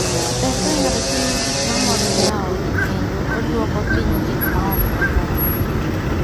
Ber ka ng'ato timo gik mamoro jaot kendo oduoko piny gik ma ok more.